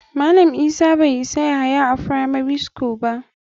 Malam isa bai sa yahaya a firamari school ba.